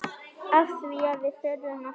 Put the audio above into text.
Afþvíað við þurfum að hlæja.